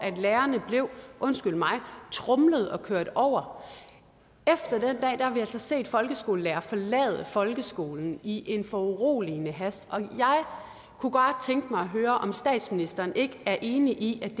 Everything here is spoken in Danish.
lærerne blev undskyld mig tromlet og kørt over har vi altså set folkeskolelærere forlade folkeskolen i en foruroligende hast og jeg kunne bare tænke mig at høre om statsministeren ikke er enig i at det